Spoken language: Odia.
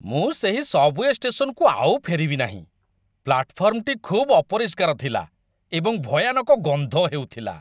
ମୁଁ ସେହି ସବ୍‌ୱେ ଷ୍ଟେସନକୁ ଆଉ ଫେରିବି ନାହିଁ। ପ୍ଲାଟଫର୍ମଟି ଖୁବ୍ ଅପରିଷ୍କାର ଥିଲା ଏବଂ ଭୟାନକ ଗନ୍ଧ ହେଉଥିଲା।